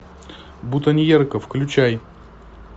бутоньерка включай